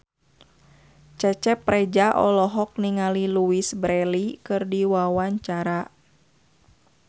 Cecep Reza olohok ningali Louise Brealey keur diwawancara